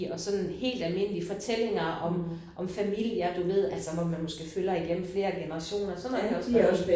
Og sådan helt almindelige forskellige fortællinger om om familier du ved altså hvor man måske følger igennem flere generationer sådan noget kan jeg også godt lide